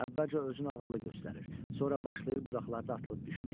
Əvvəlcə özünü ağıllı göstərir, sonra başlayır budaqlarda atılıb düşməyə.